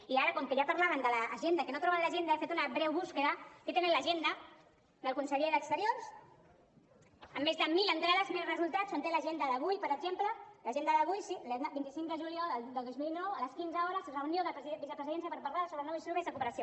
i ara com que ja parlaven de l’agenda que no troben l’agenda he fet una breu cerca aquí tenen l’agenda del conseller d’exteriors amb més de mil entrades mil resultats on té l’agenda d’avui per exemple l’agenda d’avui sí el vint cinc de juliol de dos mil dinou a les quinze hores reunió de vicepresidència per parlar sobre nous instruments de cooperació